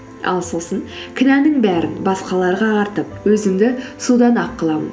ал сосын кінәнің бәрін басқаларға артып өзімді судан ақ қыламын